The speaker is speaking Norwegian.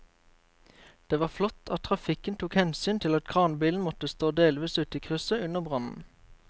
Det var flott at trafikken tok hensyn til at kranbilen måtte stå delvis ute i krysset under brannen.